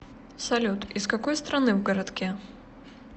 салют из какой страны в городке